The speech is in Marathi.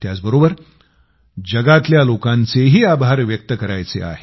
त्याचबरोबर दुनियेतल्या लोकांचेही आभार व्यक्त करायचे आहेत